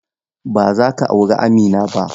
Ba zaka auri Amina ba.